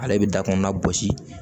Ale bɛ dakɔnɔna gosi